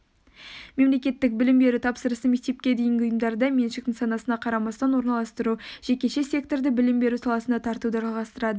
мемлекеттік білім беру тапсырысын мектепке дейінгі ұйымдарда меншік нысанына қарамастан орналастыру жекеше секторды білім беру саласына тартуды жалғастырады